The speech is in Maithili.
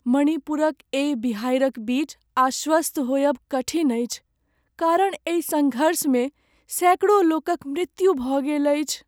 मणिपुरक एहि बिहारिक बीच आश्वस्त होयब कठिन अछि, कारण एहि सङ्घर्षमे सैकड़ो लोकक मृत्यु भऽ गेल अछि।